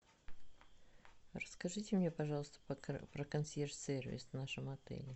расскажите мне пожалуйста про консьерж сервис в нашем отеле